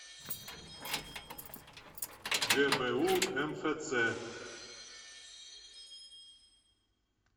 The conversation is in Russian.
гбу мфц